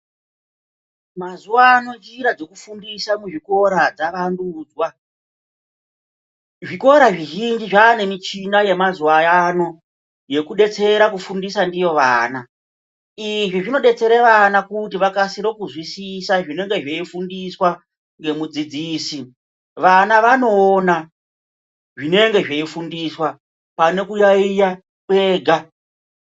Mazuwa ano njira dzekufundisa kuzvikora dzavandudzwa zvikora, zvizhinji zvava nemichina yemazuwaano yekudetsera kufundisa ndiyo vana, izvi zvinodetsere vana kuti vakasire kuzwisisa zvinenge zveifundiswa ngemudzidzisi vana vanoona zvinenge zveifundiswa pane kuyaiya kwega.